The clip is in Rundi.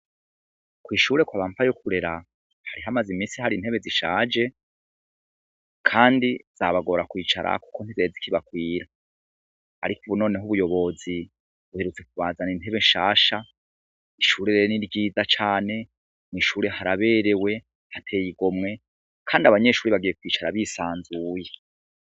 Kw'ishure kwa ba Mpayokurera hari hamaze imisi hari intebe zishaje kandi zabagora kwicarako kuko ntizari zikibakwira, ariko ubu noneho ubuyobozi buherutse kubazanira intebe nshasha, ishure rero ni ryiza cane, mw'ishure haraberewe, hateye igomwe, kandi abanyeshure bagiye kwicara bisanzuye.